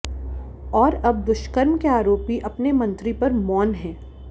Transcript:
और अब दुष्कर्म के आरोपी अपने मंत्री पर मौन हैं